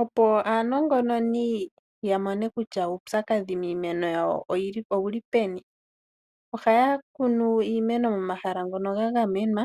Opo aanongononi yamone kutya uupyakadhi miimeno yawo owu li peni, ohaya kunu iimeno momahala ngono ga gamenwa